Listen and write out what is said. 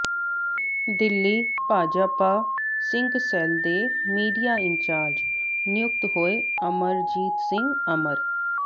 Delhi Bhajpa Sikh cell ਦੇ media incharge ਨਿਯੁਕਤ ਹੋਏ ਅਮਰਜੀਤ ਸਿੰਘ ਅਮਰ